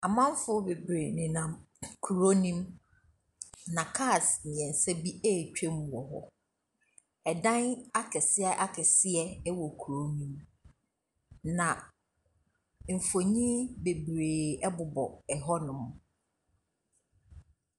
Amanfoɔ bebree nenam kurow no mu. Na cars bebree retwam wɔ hɔ. Ɛsdan akɛseɛ akɛseɛ wɔ kurow no mu. Na mfoni bebree ɛbobɔ hɔnom.